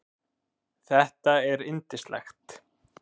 Þetta er yndislegt